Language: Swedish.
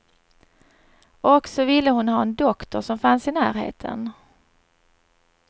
Och så ville hon ha en doktor som fanns i närheten.